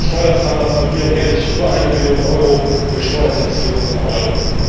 Europas Steuerzahler verlieren jährlich über eine Billion Euro durch Steuerhinterziehung und vermeidung.